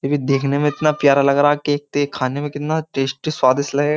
ये भी देखने में इतना प्यारा लग रहा है केकते खाने में कितना टेस्टी स्वादिष्ट लगे।